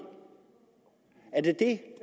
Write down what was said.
er det det